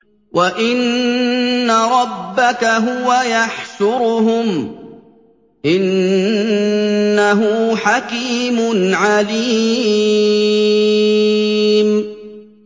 وَإِنَّ رَبَّكَ هُوَ يَحْشُرُهُمْ ۚ إِنَّهُ حَكِيمٌ عَلِيمٌ